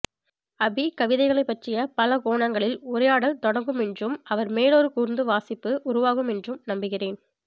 அபி கவிதைகளைப்பற்றிய பலகோணங்களில் உரையாடல் தொடங்கும் என்றும் அவர் மேலொரு கூர்ந்த வாசிப்பு உருவாகும் என்றும் நம்புகிறேன்